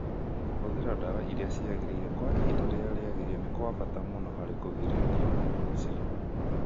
Kũhũthĩra ndawa iria ciagĩrĩire kwa ihinda rĩrĩa rĩagĩrĩire nĩ kwa bata mũno harĩ kũgirĩrĩria mũrimũ ũcio.